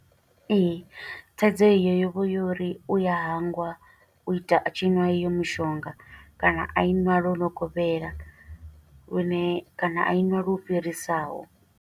Ee, thaidzo iyo yo vha yo uri, u ya hangwa u ita a tshi ṅwa i yo mushonga, kana a i ṅwa lwo no kovhela lune, kana a i nwa lwo fhirisaho.